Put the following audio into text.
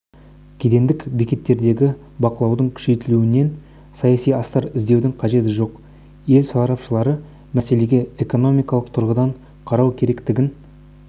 кедендік бекеттердегі бақылаудың күшейтілуінен саяси астар іздеудің қажеті жоқ ел сарапшылары мәселеге экономикалық тұрғыдан қарау керектігін